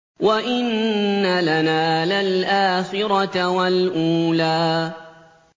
وَإِنَّ لَنَا لَلْآخِرَةَ وَالْأُولَىٰ